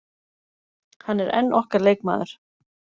Hann er enn okkar leikmaður.